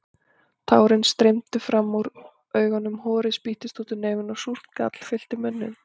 Tárin streymdu fram úr augunum, horið spýttist úr nefinu og súrt gall fyllti munninn.